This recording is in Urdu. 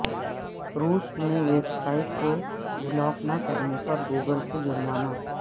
روس میں ویب سائٹس کو بلاک نہ کرنے پر گوگل کو جرمانہ